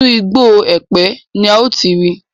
Inú igbó Ẹ̀pẹ́ ni a ó ti rí.